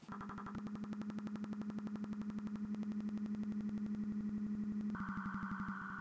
Það mun aldrei gerast.